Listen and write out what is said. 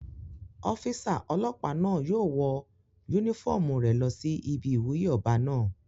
Ọ́físà ọlọ́pàá náà yóò wọ yúnífọ́ọ̀mù rẹ̀ lọ sí ibi ìwúyè ọba náà